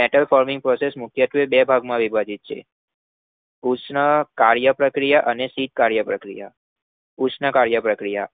metal forming process મુખ્યત્વે બે વિભાગોમાં વહેંચી શકાય છે મૅટલ ઉષ્ણ કાર્યપ્રક્રિયા શીત કાર્યપ્રક્રિયા